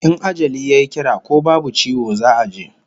In ajali yayi kira ko babu ciwo za'a je